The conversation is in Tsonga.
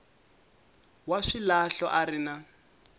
wa swilahlo a ri na